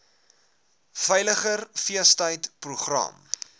veiliger feestyd program